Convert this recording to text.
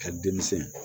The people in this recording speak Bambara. Ka denmisɛn